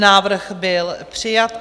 Návrh byl přijat.